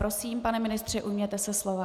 Prosím, pane ministře, ujměte se slova.